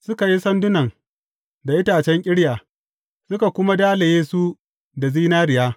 Suka yi sandunan da itacen ƙirya, suka kuma dalaye su da zinariya.